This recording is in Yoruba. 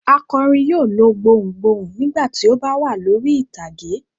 Akọrin yóò lo gbohùn gbohùn nígbà tí ó bá wà lórí ìtàgé.